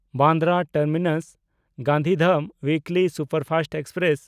Bandra ᱴᱟᱨᱢᱤᱱᱟᱥ–ᱜᱟᱱᱫᱷᱤᱫᱷᱟᱢ weekly superfast express